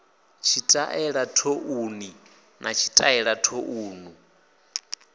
tshitaela thouni na tshitaela thouni